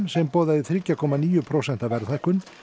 sem boðaði þriggja komma níu prósenta verðhækkun